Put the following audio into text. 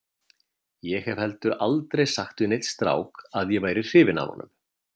Ég hef heldur aldrei sagt við neinn strák að ég væri hrifin af honum.